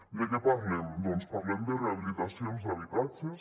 de què parlem doncs parlem de rehabilitacions d’habitatges